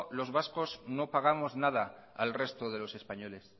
los vascos no pagamos no pagamos nada al resto de los españoles